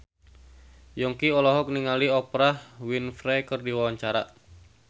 Yongki olohok ningali Oprah Winfrey keur diwawancara